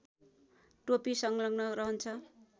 टोपी संलग्न रहन्छ